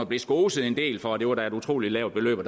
vi skoset en del for at det var et utrolig lavt beløb og